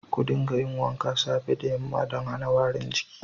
Ka dinga yin wanka safe da yamma dan hana warin jiki.